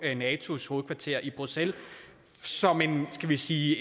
i natos hovedkvarter i bruxelles som et skal vi sige